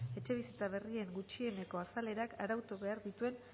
etxebizitza berrien gutxieneko azalerak arautu behar dituen